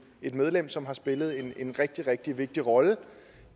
et medlem som har spillet en rigtig rigtig vigtig rolle